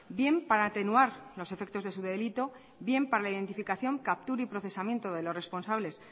bien para atenuar los efectos de su delito bien para la identificación captura y procesamiento de los responsables